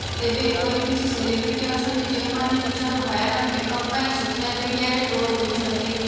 ତେବେ ଏପରି କିଛି ସେଲିବ୍ରିଟି ଅଛନ୍ତି ଯେଉଁମାନେ ନିଜର ଭୟାନକ ମେକଅପ ପାଇଁ ସେସିଆଲ ମିଡିଆରେ ଟ୍ରୋଲ ହୋଇଛନ୍ତି